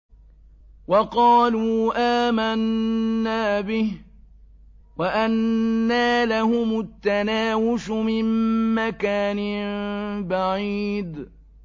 وَقَالُوا آمَنَّا بِهِ وَأَنَّىٰ لَهُمُ التَّنَاوُشُ مِن مَّكَانٍ بَعِيدٍ